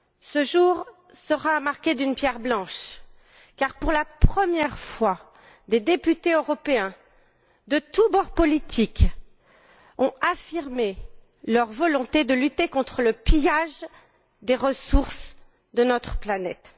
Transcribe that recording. Ce jour sera à marquer d'une pierre blanche car, pour la première fois, des députés européens de tous bords politiques ont affirmé leur volonté de lutter contre le pillage des ressources de notre planète.